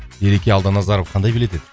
ереке алданазаров қандай билет еді